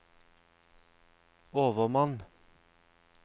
overmann